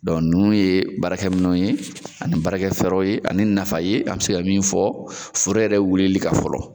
nunnu ye baarakɛ minɛn ye ani baarakɛ fɛɛrɛw ye ani nafa ye an be se ka min fɔ foro yɛrɛ wulili kan fɔlɔ.